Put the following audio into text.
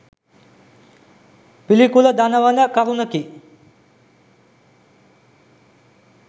පිළිකුල දනවන කරුණකි.